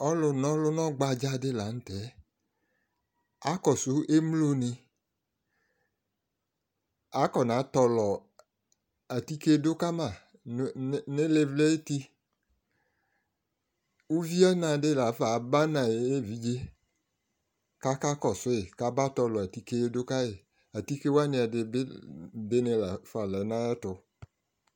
Ɔgbadza lʋna nani dila akɔsʋ emloni akɔ natɔlɔ atike dʋkama nʋ ilivli ayʋ ʋti ʋviɔna di lafa abanʋ ayʋ evidze kʋ akakɔsʋ yi kaba tɔlɔ atike dʋ kayi atike wani ɛdibi lafa lɛ nʋ ayʋ ɛtʋ